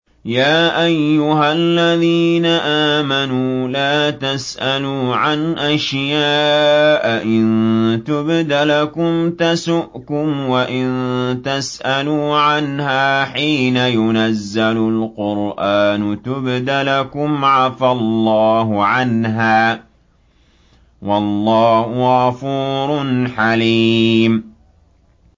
يَا أَيُّهَا الَّذِينَ آمَنُوا لَا تَسْأَلُوا عَنْ أَشْيَاءَ إِن تُبْدَ لَكُمْ تَسُؤْكُمْ وَإِن تَسْأَلُوا عَنْهَا حِينَ يُنَزَّلُ الْقُرْآنُ تُبْدَ لَكُمْ عَفَا اللَّهُ عَنْهَا ۗ وَاللَّهُ غَفُورٌ حَلِيمٌ